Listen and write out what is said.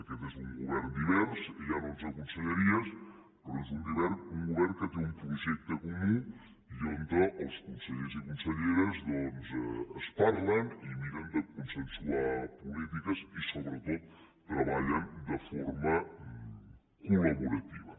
aquest és un govern divers hi ha onze conselleries però és un govern que té un projecte comú i on els consellers i conselleres doncs es parlen i miren de consensuar polítiques i sobretot treballen de forma col·laborativa